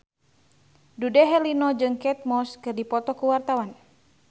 Dude Herlino jeung Kate Moss keur dipoto ku wartawan